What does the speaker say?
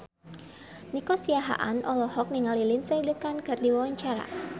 Nico Siahaan olohok ningali Lindsay Ducan keur diwawancara